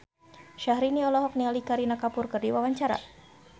Syahrini olohok ningali Kareena Kapoor keur diwawancara